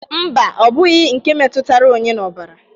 Mba, ọ bụghi nke metutara onye n'ọbara